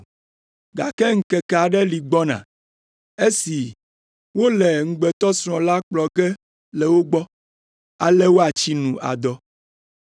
Gake ŋkeke aɖe li gbɔna, esi wole ŋugbetɔsrɔ̃ la kplɔ ge le wo gbɔ, ale woatsi nu adɔ.